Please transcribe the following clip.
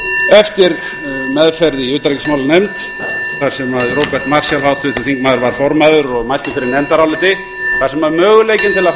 eftir meðferð í utanríkismálanefnd þar sem róbert marshall háttvirtur þingmaður var formaður og mælti fyrir nefndaráliti þar sem möguleikinn til að framkvæma þjóðaratkvæðagreiðslu með sveitarstjórnarkosningum var felldur